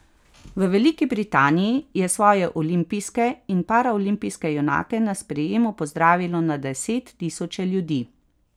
V Veliki Britaniji je svoje olimpijske in paraolimpijske junake na sprejemu pozdravilo na deset tisoče ljudi.